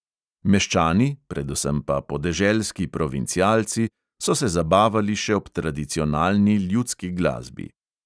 Meščani, predvsem pa podeželski provincialci, so se zabavali še ob tradicionalni ljudski glasbi.